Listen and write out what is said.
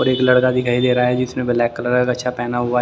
और एक लड़का दिखाई दे रहा है जिसने ब्लैक कलर का गच्छा पहना हुआ है ।